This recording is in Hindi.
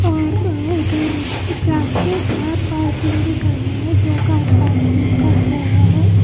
और उधर जा के कार पार्किंग भी करना है जो कार पार्किंग का क्या हुआ है।